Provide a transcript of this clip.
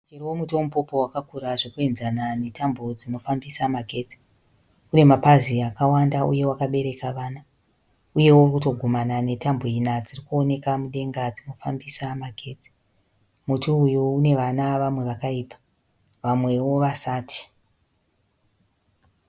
Muchero womuti weMupopo wakakura zvokuenzana netambo dzemagetsi. Une mapazi akawanda uye wakabereka vana. Uye uri kutogumana netambo ina dziri kuonekwa mudenga dzinofambisa magets. Muti uyu une vana, vamwe vakaibva, vamwe vasati.